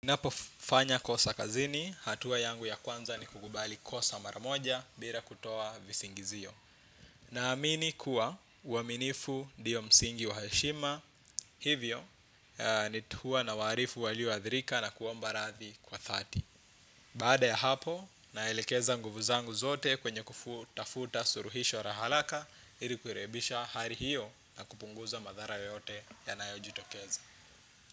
Ninapofanya kosa kazini, hatua yangu ya kwanza ni kukubali kosa maramoja bila kutoa visingizio. Na amini kuwa uaminifu ndiyo msingi wa heshima, hivyo ni huwa na waarifu walioadhirika na kuomba radhi kwa dhati. Baada ya hapo, naelekeza nguvu zangu zote kwenye kufutafuta suluhisho la haraka, ili kurekebisha hali hiyo na kupunguza madhara yoyote yanayojitokeza.